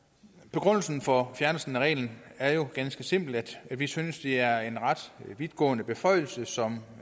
begrundelsen for at fjerne reglen er jo ganske simpelt at vi synes det er en ret vidtgående beføjelse som